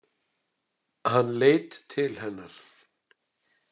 Hann leit til hennar.